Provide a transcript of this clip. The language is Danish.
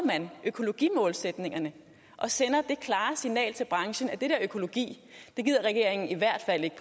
økologimålsætningerne og sender det klare signal til branchen at det der økologi gider regeringen i hvert fald ikke